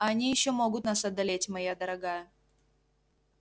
а они ещё могут нас одолеть моя дорогая